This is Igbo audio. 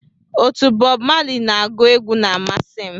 Otu Bob Marley na-agu egwu na amasị m